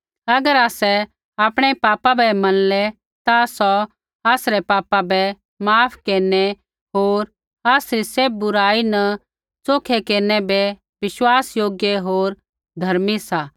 अगर आसै आपणै पापा बै मनलै ता सौ आसरै पापा बै माफ केरनै होर आसरी सैभ बुराई न च़ोखै केरनै बै बिश्वासयोग्य होर धर्मी सा